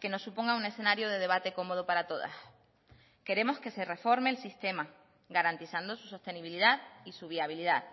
que nos suponga un escenario de debate cómodo para todas queremos que se reforme el sistema garantizando su sostenibilidad y su viabilidad